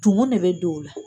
Tumu ne be don o la